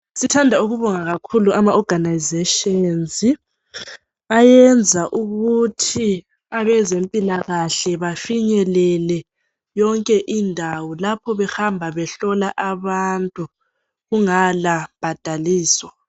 Sithanda ukubonga kakhulu ama organisation ayenza ukuthi abezempilakahle bafinyelele yonke indawo lapho behamba behlola abantu kungala mbadalo